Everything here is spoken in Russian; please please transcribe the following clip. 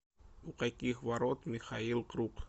у каких ворот михаил круг